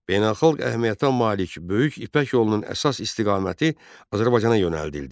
Beynəlxalq əhəmiyyətə malik Böyük İpək yolunun əsas istiqaməti Azərbaycana yönəldildi.